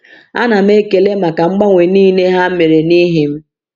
A na m ekele maka mgbanwe niile ha mere n’ihi m.